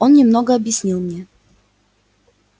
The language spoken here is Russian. он немного объяснил мне